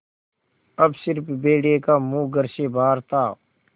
अब स़िर्फ भेड़िए का मुँह घर से बाहर था